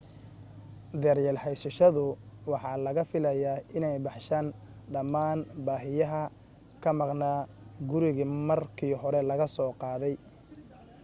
daryeelka haysashadu waxa laga filayaa inay baxshaan dhammaan baahiyaha ka maqnaa gurigii markii hore laga soo qaatay